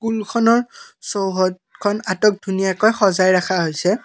স্কুলখনৰ চৌহদখন আটক ধুনীয়াকৈ সজাই ৰখা হৈছে।